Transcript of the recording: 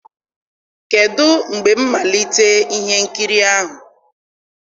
kedụ mgbe mmalite ihe nkiri ahụ?